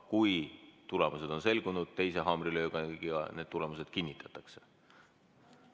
Kui tulemused on selgunud, siis teise haamrilöögiga need tulemused kinnitatakse.